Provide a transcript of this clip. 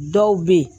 Dɔw bɛ yen